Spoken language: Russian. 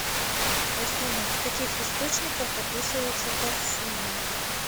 афина в каких источниках описывается парсуна